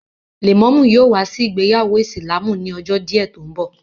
Lẹ̀mọ́mú yóò wá sí ìgbéyàwó ìsìlámù ni ọjọ́ díẹ̀ tó ń bọ̀